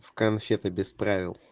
конфеты без правил